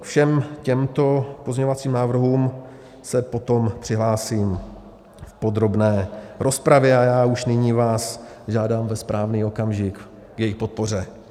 Ke všem těmto pozměňovacím návrhům se potom přihlásím v podrobné rozpravě a já už nyní vás žádám ve správný okamžik k jejich podpoře.